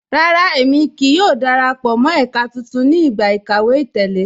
Rárá, ẹ̀mi kíí yọ̀ò darapọ̀ mọ́ ẹka tuntun ni igba ikàwé àtẹ̀lẹ